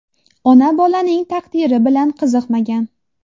Ona bolaning taqdiri bilan qiziqmagan.